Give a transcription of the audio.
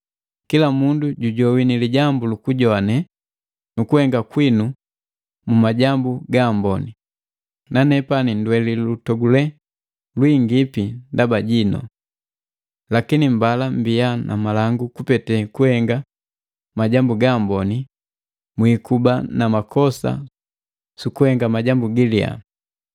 Kila mundu jujowini lijambu luku jowane nukuhenga kwinu mu majambu gaamboni, nanepani ndweli nulutogulelu lwiingipi ndaba jinu. Lakini mbala mbia na malangu kupete kuhenga majambu gaamboni mwiikuba na makosa sukuhenga majambu galiya.